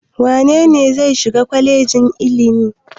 Wane ne zai shiga kwalejin ilimi?